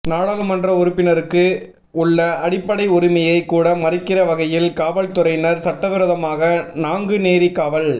நாடாளுமன்ற உறுப்பினருக்கு உள்ள அடிப்படை உரிமையை கூட மறுக்கிற வகையில் காவல்துறையினர் சட்டவிரோதமாக நாங்குநேரி காவல்